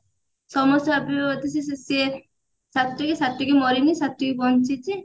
ସମସ୍ତେ ଭାବିବେ ବୋଧେ ସି ସି ସିଏ ସ୍ଵାତି ସ୍ଵାତି ମରିନି ସ୍ଵାତି ବଞ୍ଚିଛି